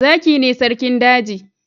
Zaki ne sarkin daji.